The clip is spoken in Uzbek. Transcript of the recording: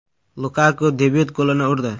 Lukaku debyut golini urdi.